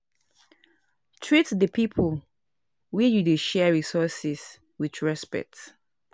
Treat di pipo wey you dey share resources with respect